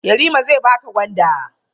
Yarima zai baka gwanda.